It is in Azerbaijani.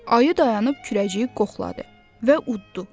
Ayı dayanıb kürəciyi qoxladı və uddudu.